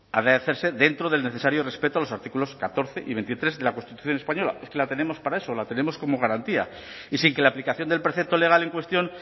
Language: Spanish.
ha de hacerse dentro del necesario respeto a los artículos catorce y veintitrés de la constitución española es que la tenemos para eso la tenemos como garantía y sin que en la aplicación del precepto legal en cuestión